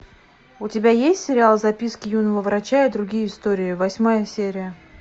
у тебя есть сериал записки юного врача и другие истории восьмая серия